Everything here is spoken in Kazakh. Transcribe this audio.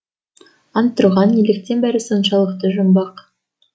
антұрған неліктен бәрі соншалықты жұмбақ